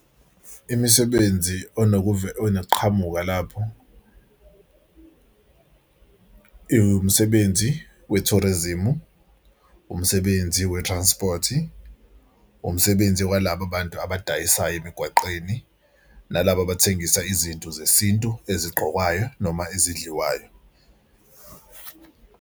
Imisebenzi onokuqhamuka lapho iwumsebenzi we-tourism, umsebenzi we-transport-i, umsebenzi walaba abantu abadayisayo emigwaqeni nalaba abathengisa izinto zesintu ezigqokwayo noma ezidliwayo.